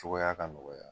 Cogoya ka nɔgɔya